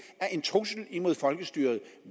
er en trussel imod folkestyret